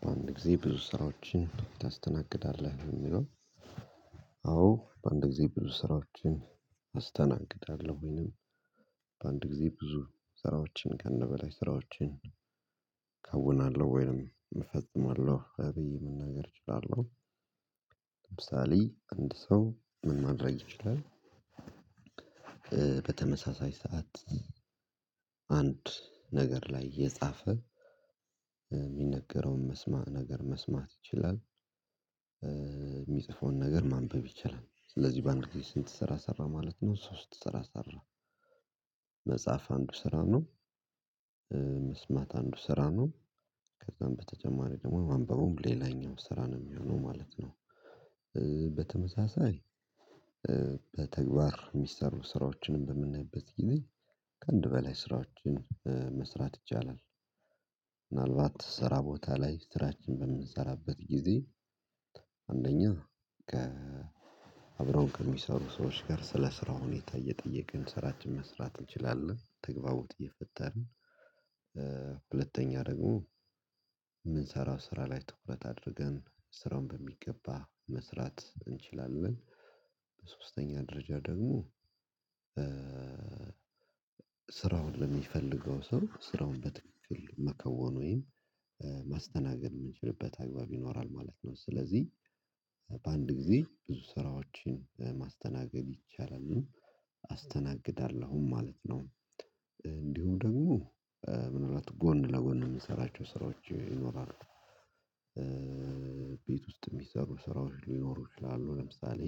በአንድ ጊዜ ብዙ ስራዎችን ታስተናግዳለህ ነው የሚለው አዎ በአንድ ጊዜ ብዙ ስራዎችን አስተናግዳለሁ ወይንም በአንድ ጊዜ ብዙ ስራዎችን ከአንድ በላይ ስራዎችን ከውናለሁ ወይንም እፈጽማለሁ ብዬ መናገር እችላለሁ ለምሳሌ አንድ ሰው ምን ማድረግ ይችላል በተመሳሳይ ሰዓት አንድ ነገር ላይ የጻፈ የሚነገረውን መስማማት ነገር መስማት ይችላል የሚጽፈውን ነገር ማንበብ ይችላል ስለዚህ በአንድ ጊዜ ስንት ስራ ሰራ ማለት ነው ሶስት ስራ ሰራ መጽሐፍ አንዱ ስራ ነው መስማት አንዱ ስራ ነው ከዛም በተጨማሪ ደግሞ ማንበቡም ሌላኛው ስራ ነው የሚሆነው ማለት ነው በተመሳሳይ በተግባር የሚሰሩ ስራዎችንም በምናይበት ጊዜ ከአንድ በላይ ስራዎችን መስራት ይቻላል ምናልባት ስራ ቦታ ላይ ስራችን በምንሰራበት ጊዜ አንደኛ ከ አብረውን ከሚሰሩ ሰዎች ጋር ስለ ስራ ሁኔታ እየጠየቅን ስራችን መስራት እንችላለን ተግባቦት እየፈጠርን ሁለተኛ ደግሞ የምንሰራው ስራ ላይ ትኩረት አድርገን ስራውን በሚገባ መስራት እንችላለን በሶስተኛ ደረጃ ደግሞ ስራው ስራውን ለሚፈልገው ሰው ስራውን በትክክል መከወን ወይም ማስተናገድ የምንችልበት አግባብ ይኖራል ማለት ነው ስለዚህ በአንድ ጊዜ ብዙ ስራዎችን ማስተናገድ ይቻላል አስተናግዳለሁም ማለት ነው እንዲሁ ደግሞ ምን እንደሆነ ጎን ለጎን የምሰራቸው ስራዎች ይኖራሉ ቤት ውስጥ የሚሰሩ ስራዎች ሊኖሩ ይችላሉ ለምሳሌ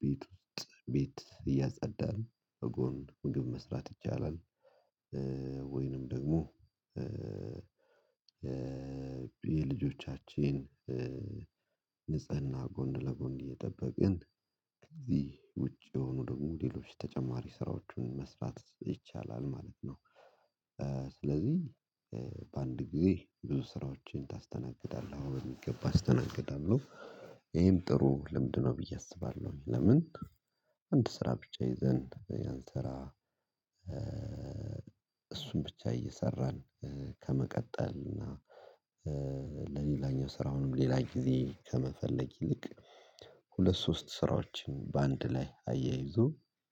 ቤት ውስጥ ቤት እያጸዳን በጎን ምግብ መስራት ይቻላል ወይንም ደግሞ የልጆቻችን ንጽህና ጎን ለጎን እየጠበቅን ከዚህ ውጪ የሆኑ ደግሞ ሞዴሎች ተጨማሪ ስራዎችን መስራት ይቻላል ማለት ነው ስለዚህ በአንድ ጊዜ ብዙ ስራዎችን ታስተናግዳለህ በሚገባ አስተናግዳለሁ ይሄም ጥሩ ልምድ ነው ብዬ አስባለሁ ለምን አንድ ስራ ብቻ ይዘን ያን ስራ እሱን ብቻ እየሰራን ከመቀጠል እና ለሌላኛው ስራውንም ሌላ ጊዜ ከመፈለግ ይልቅ ሁለት ሶስት ስራዎችን በአንድ ላይ አያይዞ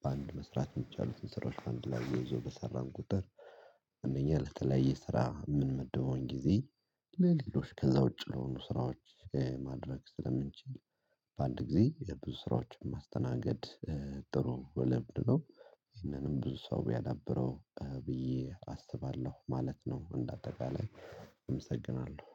በአንድ መስራት የሚቻሉትን ስራዎች በአንድ ላይ አያይዞ በሰራን ቁጥር እነኛ ለተለያየ ስራ ምንመደበውን ጊዜ ለሌሎች ከዛ ውጪ ለሆኑ ስራዎች ማድረግ ስለምንችል በአንድ ጊዜ የብዙ ስራዎችን ማስተናገድ ጥሩ ልምድ ነው ይህንንም ብዙ ሰው ቢያዳብረው ብዬ አስባለሁ ማለት ነው እንደ አጠቃላይ እመሰግናለሁ።